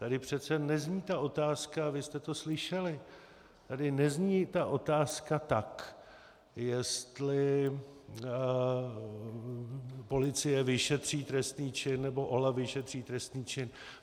Tady přece nezní ta otázka, a vy jste to slyšeli, tady nezní ta otázka tak, jestli policie vyšetří trestný čin, nebo OLAF vyšetří trestný čin.